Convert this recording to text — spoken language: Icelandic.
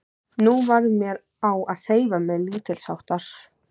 Nú varð mér á að hreyfa mig lítilsháttar.